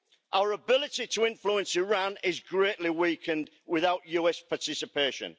Our ability to influence Iran is greatly weakened without US participation.